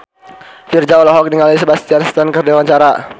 Virzha olohok ningali Sebastian Stan keur diwawancara